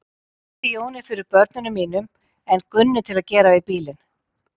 Ég treysti Jóni fyrir börnunum mínum en Gunnu til að gera við bílinn.